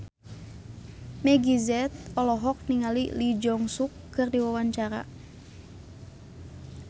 Meggie Z olohok ningali Lee Jeong Suk keur diwawancara